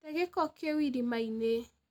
Tee gĩko kĩ u irima-inĩ.